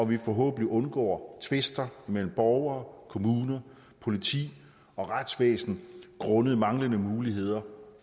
vi forhåbentlig undgår tvister mellem borgere kommuner politi og retsvæsen grundet manglende muligheder